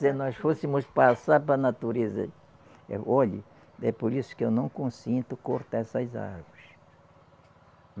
Se nós fôssemos passar para a natureza. Olhe, é por isso que eu não consinto cortar essas árvores.